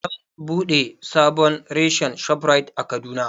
An buɗe sabon reshen Shoprite a Kaduna